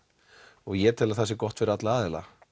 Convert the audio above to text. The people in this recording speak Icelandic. og ég tel að það sé gott fyrir alla aðila